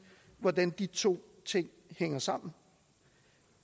hvordan de to ting hænger sammen